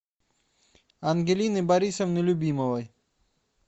ангелины борисовны любимовой